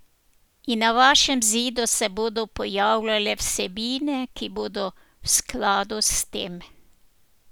In na vašem zidu se bodo pojavljale vsebine, ki bodo v skladu s tem.